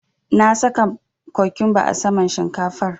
Na saka cokumba a saman shinkafar.